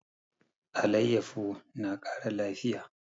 Alayyafo na kara lafiya